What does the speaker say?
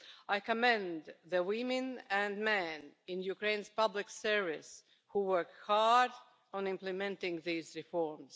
I commend the women and men in Ukraine's public service who work hard on implementing these reforms.